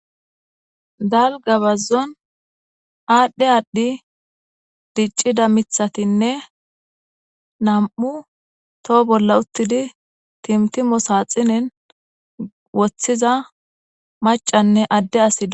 Dalgga bazzon aadhdhi aadhdhi diccida miththatinne nam'u toho bolla uttidi timtimo saaxinen woththiza macanne adde asi.